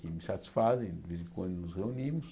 que me satisfazem de vez em quando nos reunimos.